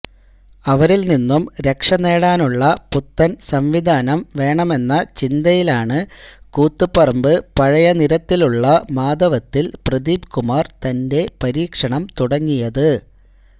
അവരില് നിന്നും രക്ഷനേടാനുള്ള പുത്തന് സംവിധാനം വേണമെന്ന ചിന്തയിലാണ് കൂത്തുപറമ്പ് പഴയനിരത്തിലെ മാധവത്തില് പ്രദീപ്കുമാര് തന്റെ പരീക്ഷണം തുടങ്ങിയത്